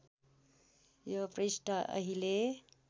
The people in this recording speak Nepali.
यो पृष्ठ अहिले